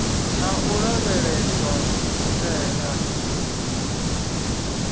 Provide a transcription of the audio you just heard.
na u lavheleswa u tea